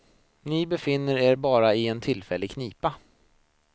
Ni befinner er bara i en tillfällig knipa.